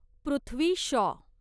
Prithvi Shaw